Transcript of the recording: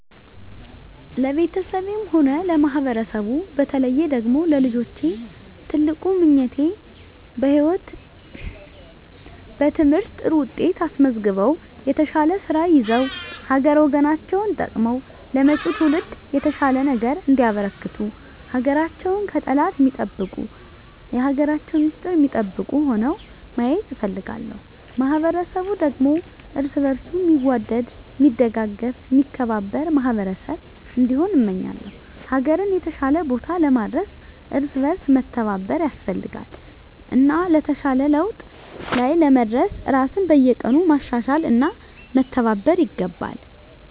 ለቤተሰቤም ሆነ ለማህበረሰቡ በተለየ ደግሞ ለልጆቼ ትልቁ ምኞቴ በትምህርት ጥሩ ውጤት አስመዝግበው የተሻለ ስራ ይዘው ሀገር ወገናቸውን ጠቅመው ለመጭው ትውልድ የተሻለ ነገር እንዲያበረክቱ ሀገራቸውን ከጠላት ሚጠብቁ የሀገራቸውን ሚስጥር ሚጠብቁ ሁነው ማየት እፈልጋለሁ። ማህበረሰቡ ደግሞ እርስ በእርሱ ሚዋደድ ሚደጋገፍ ሚከባበር ማህበረሰብ እንዲሆን እመኛለው። ሀገርን የተሻለ ቦታ ለማድረስ እርስ በእርስ መተባበር ያስፈልጋል እና የተሻለ ለውጥ ላይ ለመድረስ ራስን በየቀኑ ማሻሻል እና መተባበር ይገባል።